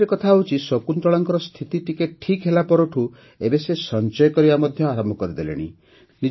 ଆଉ ଗୋଟିଏ କଥା ହେଉଛି ଶକୁନ୍ତଳାଙ୍କର ସ୍ଥିତି ଟିକେ ଠିକ୍ ହେଲାପରଠାରୁ ଏବେ ସେ ସଞ୍ଚୟ କରିବା ମଧ୍ୟ ଆରମ୍ଭ କରିଦେଲେଣି